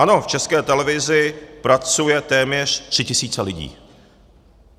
Ano, v České televizi pracuje téměř 3 000 lidí.